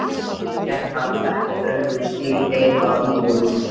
Þaðan gekk hann eftir þröngum stíg heim að íbúðarhúsinu.